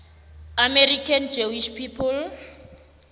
american jewish people